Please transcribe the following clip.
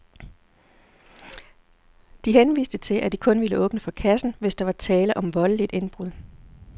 De henviste til, at de kun ville åbne for kassen, hvis der var tale om voldeligt indbrud.